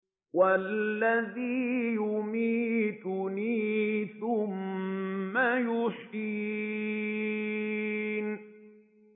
وَالَّذِي يُمِيتُنِي ثُمَّ يُحْيِينِ